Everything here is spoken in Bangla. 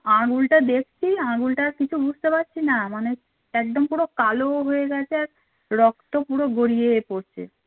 আঙুলটা দেখছি কিছু বুঝতে পারছিনা মানে একদম পুরো কালো হয়ে গেছে আর রক্ত পুরো গড়িয়ে পড়ছে